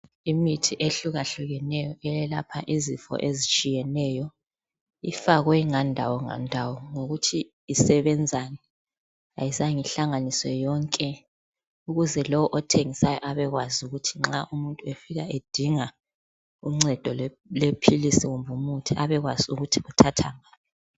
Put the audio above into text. Imithi ehlukahlukeneyo eyelapha izifo ezitshiyeneyo ifakwe ngandawo ngandawo ngokuthi isebenzani. Ayizange ihlanganiswe yonke ukuze lowo othengisayo abekwazi ukuthi nxa umuntu efika edinga uncedo lwephilisi kumbe umuthi abekwazi ukuthi uluthatha ngaphi.